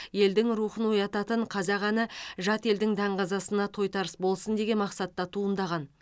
елдің рухын оятатын қазақ әні жат елдің даңғазасына тойтарыс болсын деген мақсатта туындаған